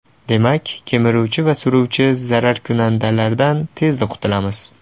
Demak ... Kemiruvchi va suruvchi zararkunandalardan tezda qutulamiz.